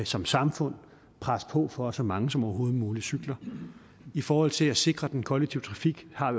som samfund presse på for at så mange som overhovedet muligt cykler i forhold til at sikre den kollektive trafik har